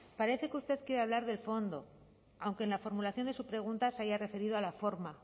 parece que usted quiere hablar del fondo aunque en la formulación de su pregunta se haya referido a la forma